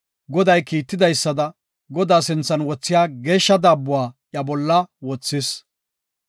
Goday kiitidaysada, Godaa sinthan wothiya geeshsha daabbuwa iya bolla wothis.